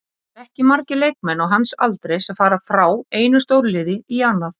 Það eru ekki margir leikmenn á hans aldri sem fara frá einu stórliði í annað.